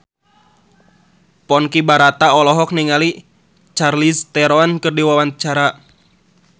Ponky Brata olohok ningali Charlize Theron keur diwawancara